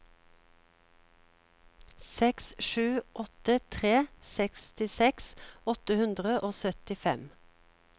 seks sju åtte tre sekstiseks åtte hundre og syttifem